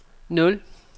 nul